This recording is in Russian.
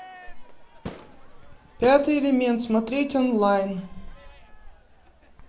пятый элемент смотреть онлайн